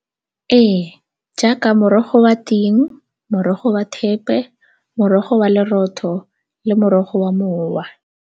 Ee, jaaka morogo wa ting, morogo wa thepe, morogo wa lerotho le morogo wa mowa.